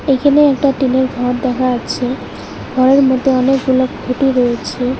এখানে একটা টিনের ঘর দেখা যাচ্ছে ঘরের মধ্যে অনেকগুলা খুঁটি রয়েছে।